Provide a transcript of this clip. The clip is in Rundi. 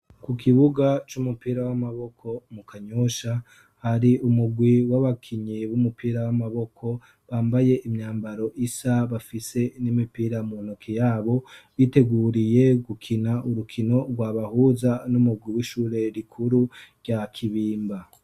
Ku kibuga c'umupira w'amaboko mu Kanyosha hari umurwi w'abakinyi b'umupira w'amaboko bambaye imyambaro isa, bafise n'imipira mu ntoki yabo biteguriye gukina urukino rwabahuza n'umurwi w'ishure rikuru rya Kibimba.